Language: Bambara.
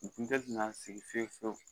U kun tɛ na sigi fiye fiyewu